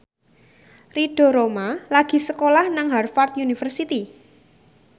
Ridho Roma lagi sekolah nang Harvard university